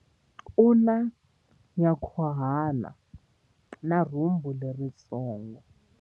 U na nyankhuhana na rhumbu leritsongo.